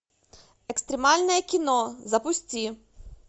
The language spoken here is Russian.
экстремальное кино запусти